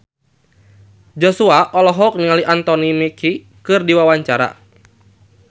Joshua olohok ningali Anthony Mackie keur diwawancara